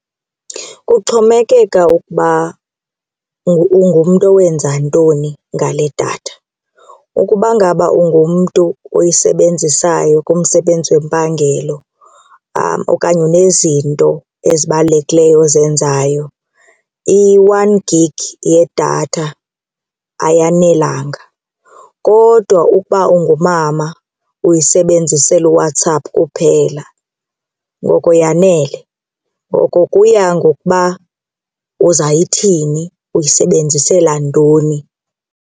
Kuxhomekeka ukuba ungumntu owenza ntoni ngale datha. Ukuba ngaba ungumntu oyisebenzisayo kumsebenzi wempangelo okanye unezinto ezibalulekileyo ozenzayo i-one gig yedatha ayanelanga kodwa ukuba ungumama uyisebenzisela uWhatsApp kuphela ngoko yanele. Ngoko kuya ngokuba uzayithini, uyisebenzisela ntoni.